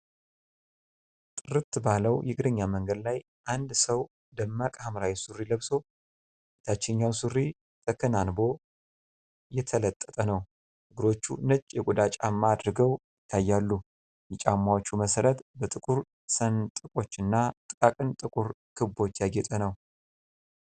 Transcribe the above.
ጥርት ባለው የእግረኛ መንገድ ላይ፣ አንድ ሰው ደማቅ ሐምራዊ ሱሪ ለብሶ፣ የታችኛው ሱሪ ተከናንቦ የተለጠጠ ነው። እግሮቹ ነጭ የቆዳ ጫማ አድርገው ይታያሉ፤ የጫማዎቹ መሠረት በጥቁር ሰንጥቆችና ጥቃቅን ጥቁር ክቦች ያጌጠ ነው።